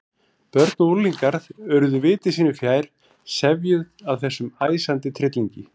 Börn og unglingar urðu viti sínu fjær, sefjuð af þessum æsandi tryllingi.